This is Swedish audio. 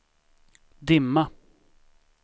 dimma